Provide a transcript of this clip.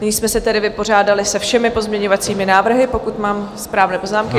Nyní jsme se tedy vypořádali se všemi pozměňovacími návrhy, pokud mám správné poznámky.